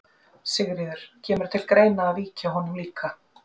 Sigríður: Kemur til greina að víkja honum líka?